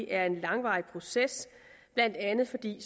er en langvarig proces blandt andet fordi